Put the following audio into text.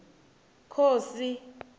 khosi